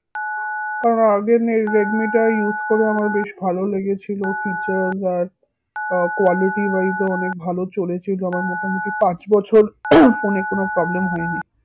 কারণ আগে না এই রেডমি টা use করে আমার বেশ ভালো লেগেছিলো features আর আহ quality wise ও অনেক ভালো চলেছে আমার মোটামুটি পাঁচ বছর phone এ কোনো problem হয়নি